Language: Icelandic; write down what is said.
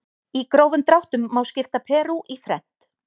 Í grófum dráttum má skipta Perú í þrennt.